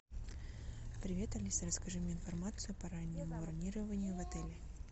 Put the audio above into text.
привет алиса расскажи мне информацию по раннему бронированию в отеле